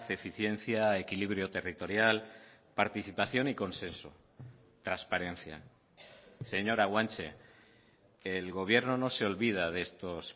eficiencia equilibrio territorial participación y consenso transparencia señora guanche el gobierno no se olvida de estos